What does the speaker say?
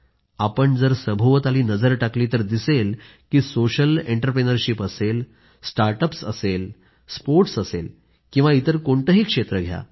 आपण जर सभोवताली नजर टाकली तर दिसेल की सोशल एंट्राप्रिनरशिप असेल स्टार्टअप्स असेल स्पोर्टस् असेल किंवा इतर कोणतेही क्षेत्र घ्या